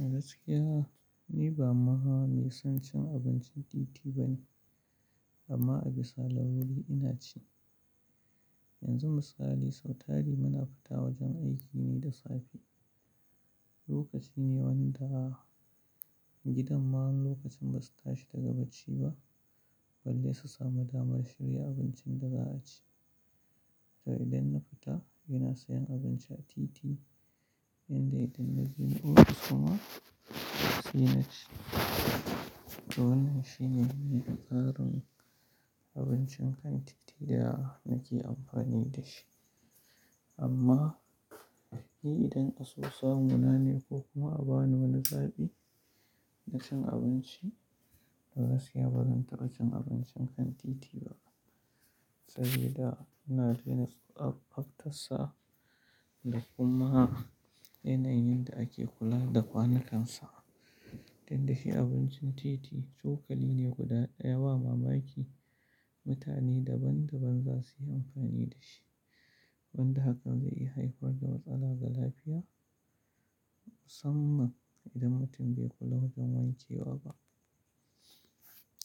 A gaskiya, ni ba mahaa mai son cin abincin titi ba ne amma a bisa laruri ina ci. Yanzu misali, sautari muna fita wajen aiki ne da safe, lokaci ne wanda gidan ma wani lokacin basu tashi daga bacci ba balle su samu damar shirya abincin da za a ci. To idan na fita ina sayan abinci a titi inda idan na gina wurin kuma si na ci. To wannan shine ne buƙatar abincin kan titi da na ke amfani da shi. Amma ni idan a son sa mu na ne ko kuma a bani wani zaɓi, na cin abinci, to gaskiya bazan taɓa cin abincin kan titi ba. Sabida ina tuna da tsaftarsa da kuma yana yin da ake kula da kwanakan sa. Don dashi abincin titi cokali ne guda ɗaya ba mamaki mutane daban-daban za su yi amfani da shi. Wanda hakan zai iya haifar da matsala ga lafiya, musamman idan mutum bai kula wajen wanke wa ba.